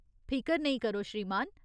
फिकर नेईं करो, श्रीमान।